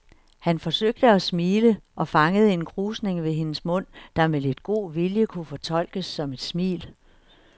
Han forsøgte at smile og fangede en krusning ved hendes mund, der med lidt god vilje kunne fortolkes som et smil.